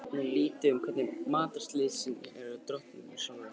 Maður veit nú lítið um hvernig matarlystin er hjá drottningunni sjálfri.